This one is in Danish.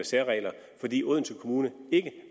særregler fordi odense kommune ikke